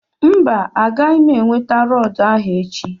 mba, Agaghị m enweta rọọdụ ahụ echi